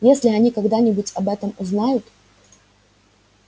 если они когда-нибудь об этом узнают